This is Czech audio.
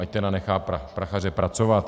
Ať tedy nechá Prachaře pracovat!